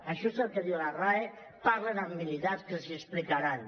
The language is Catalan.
això és el que diu la rae parlin amb militars que els ho explicaran